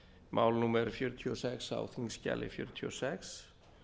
mál númer sjötíu og sex á þingskjali fjörutíu og sex